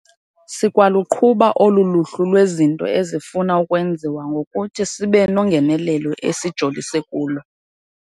Sikwaluqhuba olu luhlu lwezinto ezifuna ukwenziwa ngokuthi sibe nongenelelo esijolise kulo.